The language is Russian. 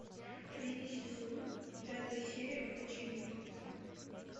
третий сезон пятая серия ходячие мертвецы